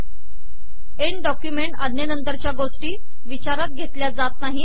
end document आजेनतरचया गोषी िवचारात घेतलया जात नाहीत